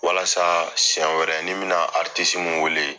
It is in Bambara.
Walasa siɲɛ wɛrɛ ni n me na min wele.